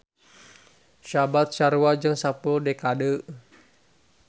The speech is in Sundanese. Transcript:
Saabad sarua jeung sapuluh dekade.